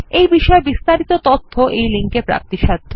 এই বিষয় বিস্তারিত তথ্য এই লিঙ্ক এ প্রাপ্তিসাধ্য